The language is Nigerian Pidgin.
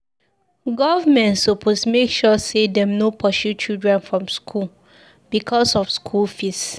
Government suppose make sure sey dem no pursue children from skool because of skool fees.